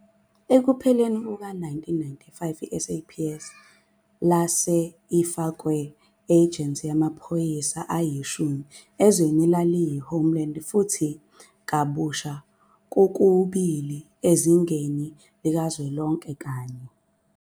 Ekupheleni kuka-1995, i-SAPS lase ifakwe ejensi amaphoyisa ayishumi ezwe elaliyi -homeland, futhi kabusha kokubili ezingeni likazwelonke kanye.